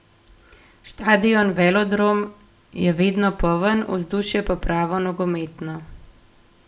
Štadion Velodrome je vedno poln, vzdušje pa pravo nogometno.